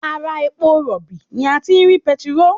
Ara epo rọ̀bì ni a ti rí petiróò